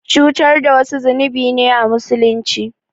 Cutar da wasu zunubi ne a Musulunci.